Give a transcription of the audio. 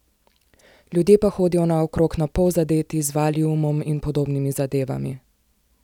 Ljudje pa hodijo naokrog napol zadeti z valiumom in podobnimi zadevami.